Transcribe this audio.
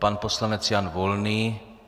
Pan poslanec Jan Volný.